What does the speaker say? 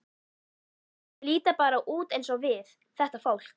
Þau líta bara út eins og við, þetta fólk.